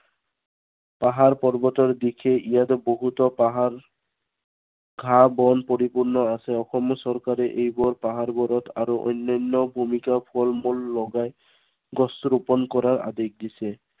পাহাৰ পৰ্বতৰ দিশে ইয়াত বহুতো পাহাৰ ঘাঁ- বন পৰিপূৰ্ণ আছে। অসম চৰকাৰে এইবোৰ পাহাৰবোৰত আৰু অন্য়ান্য় ভূমিতো ফল-মূল লগাই, গছ ৰূপন কৰা আদেশ দিছে।